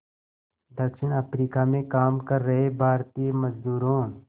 दक्षिण अफ्रीका में काम कर रहे भारतीय मज़दूरों